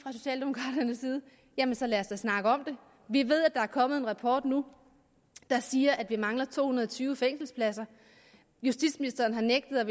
jamen så lad os da snakke om det vi ved at der er kommet en rapport nu der siger at der mangler to hundrede og tyve fængselspladser justitsministeren har nægtet at